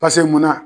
munna